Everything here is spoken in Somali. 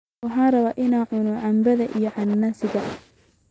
Waxaan rabaa inaan cuno canbaha iyo cananaaska